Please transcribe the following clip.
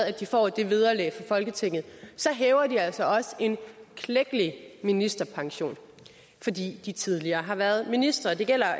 at de får det vederlag fra folketinget hæver de altså også en klækkelig ministerpension fordi de tidligere har været ministre det gælder